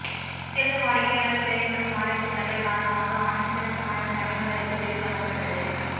சிறந்த வாடிக்கையாளர் சேவை மற்றும் ஆராய்ச்சிக் கற்றல் காரணமாக ஆண்டின் சிறந்த மாணவர் பணியாளருக்கு விருது வழங்கப்பட்டது